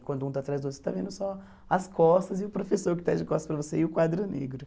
E quando um está atrás do outro, você está vendo só as costas e o professor que está de costas para você e o quadro negro.